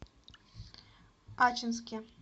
ачинске